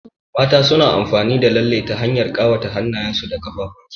Mata suna amfani da lalle ta hanyar ƙawa hannyen su da ƙaffuwan su.